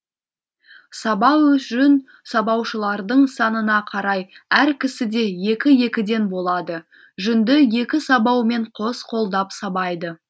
сабау жүн сабаушылардың санына қарай әр кісіде екі екіден болады жүнді екі сабаумен қос қолдап сабайды